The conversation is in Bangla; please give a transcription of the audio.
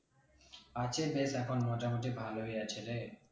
আছে বেশ এখন মোটামোটি ভালোই আছে রে